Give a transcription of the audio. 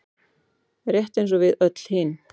Rétt eins og við öll hin.